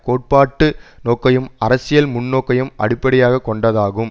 கோட்பாட்டு நோக்கையும் அரசியல் முன்நோக்கையும் அடிப்படையாக கொண்டதாகும்